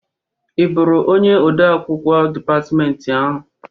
I bụrụ onye ode akwụkwọ dịpatmentị ahụ?